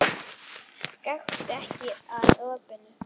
Gakktu ekki að opinu.